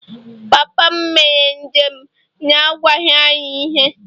Papa m mere njem n’agwaghị anyị ihe